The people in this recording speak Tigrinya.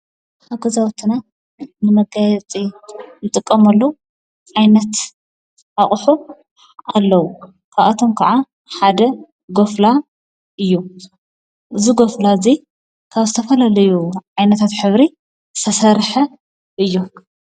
ኣገዛዊትና ንመጋይፂ ይጥቀመሉ ኣይነት ኣቕሑ ኣለዉ ካኣቶም ከዓ ሓደ ጐፍላ እዩ እዝጐፍላ እዙይ ካብ ስተፋልለዩ ኣይነታት ኅብሪ ሠሠርሐ እዩ።